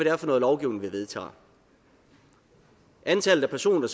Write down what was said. er for noget lovgivning vi vedtager antallet af personer